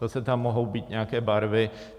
Zase tam mohou být nějaké barvy.